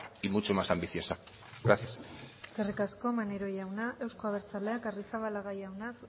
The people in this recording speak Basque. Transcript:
y mucho más ambiciosa gracias eskerrik asko maneiro jauna euzko abertzaleak arrizabalaga